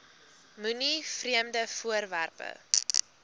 moenie vreemde voorwerpe